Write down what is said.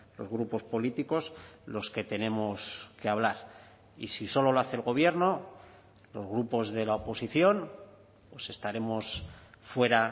los grupos políticos los que tenemos que hablar y si solo lo hace el gobierno los grupos de la oposición pues estaremos fuera